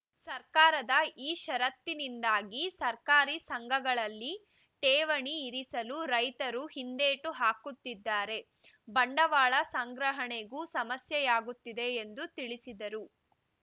ಸರ್ಕಾರದ ಈ ಷರತ್ತಿನಿಂದಾಗಿ ಸರಕಾರಿ ಸಂಘಗಳಲ್ಲಿ ಠೇವಣಿ ಇರಿಸಲು ರೈತರು ಹಿಂದೇಟು ಹಾಕುತ್ತಿದ್ದಾರೆ ಬಂಡವಾಳ ಸಂಗ್ರಹಣೆಗೂ ಸಮಸ್ಯೆಯಾಗುತ್ತಿದೆ ಎಂದು ತಿಳಿಸಿದರು